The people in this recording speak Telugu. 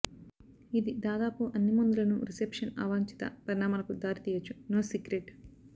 ఇది దాదాపు అన్ని మందులను రిసెప్షన్ అవాంఛిత పరిణామాలకు దారితీయొచ్చు నో సీక్రెట్